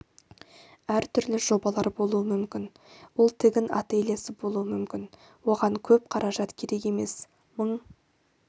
әртүрлі жобалар болуы мүмкін ол тігін ательесі болуы мүмкін оған көп қаражат керек емес мың